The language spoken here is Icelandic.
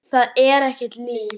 Það er ekkert líf.